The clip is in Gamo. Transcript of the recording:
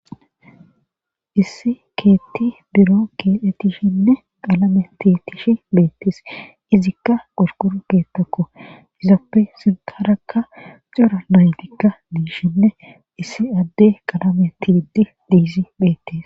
Issi keetti biro keelhettishinne qalame ti tishi beettees izikka qulqur keettakko yizappe sinkarakka xura naytikka diishinne issi adde qalame tigiddi diizi beettes